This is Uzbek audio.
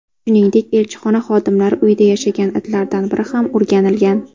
Shuningdek, elchixona xodimlari uyida yashagan itlardan biri ham o‘rganilgan.